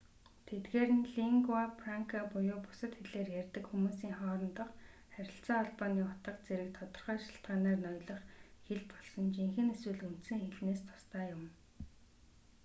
тэдгээр нь лингуа франка буюу бусад хэлээр ярьдаг хүмүүсийн хоорондох харилцаа холбооны утга зэрэг тодорхой шалтгаанаар ноёлох хэл болсон жинхэнэ эсвэл үндсэн хэлнээс тусдаа юм